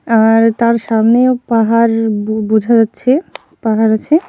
আর তার সামনেও পাহাড় বো-বোঝা যাচ্ছে পাহাড় আছে ।